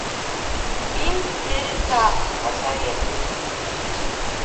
фильм дереза посоветуй мне